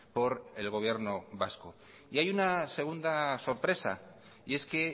por el gobierno vasco y hay una segunda sorpresa y es que